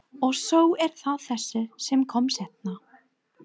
Og svo er það þessi sem kom seinna.